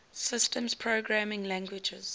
systems programming languages